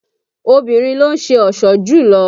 Obìnrin ló ń ṣe ọ̀ṣọ́ jùlọ